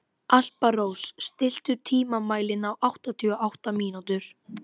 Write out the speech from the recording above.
Alparós, stilltu tímamælinn á áttatíu og átta mínútur.